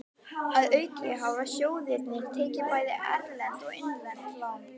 Að auki hafa sjóðirnir tekið bæði erlend og innlend lán.